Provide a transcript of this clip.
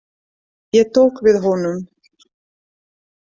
Ég tók við honum.